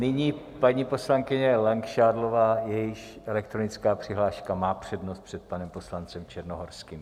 Nyní paní poslankyně Langšádlová, jejíž elektronická přihláška má přednost před panem poslancem Černohorským.